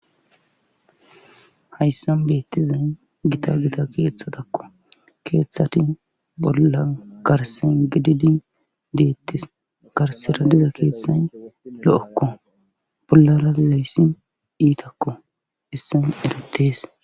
hayssan bettizay gita gita keeththatakko keeththati bolla garse gididi deettis garsera diza keeththay lo'okko bollara dizayssi iitakko hessan eretees